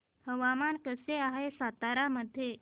हवामान कसे आहे सातारा मध्ये